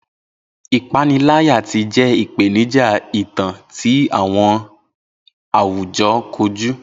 Ipanilaya ti jẹ ipenija itan ti awọn awujọ koju.